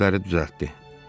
Den kürəkləri düzəltdi.